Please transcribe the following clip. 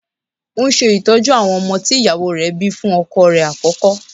Ó ń ṣe ìtọ́jú àwọn ọmọ tí ìyàwó rẹ̀ bíi fún ọkọ rẹ̀ àkọ́kọ́.